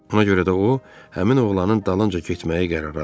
Ona görə də o həmin oğlanın dalınca getməyi qərara aldı.